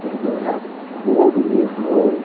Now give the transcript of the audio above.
Tudo dourado, ouro mesmo, ouro.